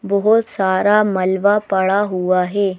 बहुत सारा मलवा पड़ा हुआ है।